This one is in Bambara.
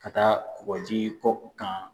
Ka taa kɔ kan